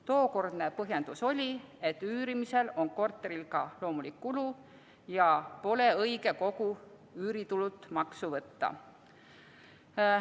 Tookordne põhjendus oli, et üürimise korral on korteril ka loomulik kulu ja pole õige kogu üüritulult maksu võtta.